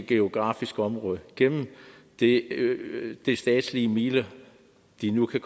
geografisk område gennem de statslige midler de nu kan